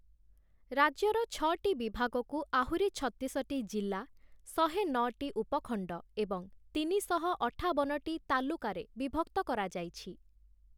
ରାଜ୍ୟର ଛଅଟି ବିଭାଗକୁ ଆହୁରି ଛତିଶଟି ଜିଲ୍ଲା, ଶହେ ନଅଟି ଉପଖଣ୍ଡ ଏବଂ ତିନିଶହ ଅଠାବନଟି ତାଲୁକାରେ ବିଭକ୍ତ କରାଯାଇଛି ।